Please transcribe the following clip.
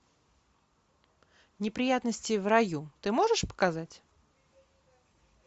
неприятности в раю ты можешь показать